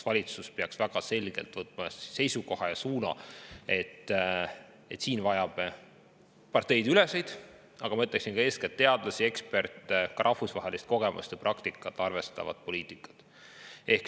Valitsus peaks võtma selge seisukoha ja suuna, et siin me vajame parteideülest, eeskätt teadlasi, eksperte ja ka rahvusvahelist kogemust või praktikat arvestavat poliitikat.